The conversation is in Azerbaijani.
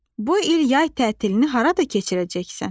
Bu il yay tətilini harada keçirəcəksən?